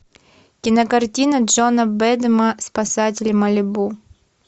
кинокартина джона бэдэма спасатели малибу